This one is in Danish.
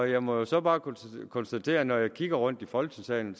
jeg må så bare konstatere at når jeg kigger mig rundt i folketingssalen